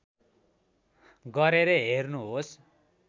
गरेर हेर्नुहोस्